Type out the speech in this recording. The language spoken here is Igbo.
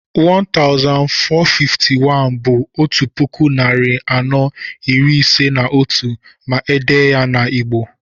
1451 bú 'otu puku, narị anọ, iri ise na otú' ma èdèe ya n'Igbo